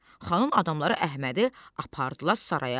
Xanın adamları Əhmədi apardılar saraya.